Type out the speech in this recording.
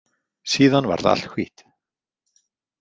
Síðan varð allt hvítt.